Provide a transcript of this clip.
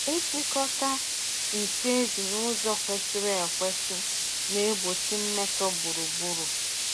Ịchịkọta nsị ezi n’ụzọ kwesịrị ekwesị na-egbochi mmetọ gburugburu.